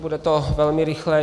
Bude to velmi rychlé.